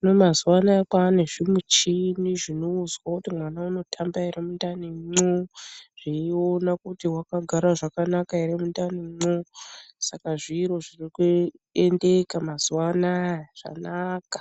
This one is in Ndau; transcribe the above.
hino mwazuwa anaya kwane zvimuchini zvinozwa kuti mwana unotamba here mundanimwo, zveiona kuti wakagara zvakanaka here mwundanimwo, saka zviro zviri kuendeka mwazuwa anaya, zvanaka!